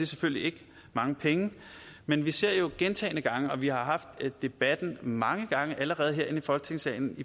selvfølgelig ikke mange penge men vi ser gentagne gange og vi har haft debatten mange gange allerede her i folketingssalen